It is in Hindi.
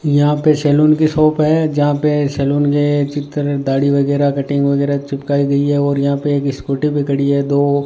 यहां पे सैलून की शॉप है जहां पे सैलून के चिक्कर दाढ़ी वगैरा कटिंग वगैरा चिपकाई गईं है और यहां पे एक स्कूटी भी खड़ी है और